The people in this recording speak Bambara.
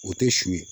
O tɛ su ye